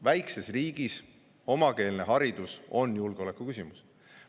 Väikses on riigis omakeelne haridus julgeolekuküsimus.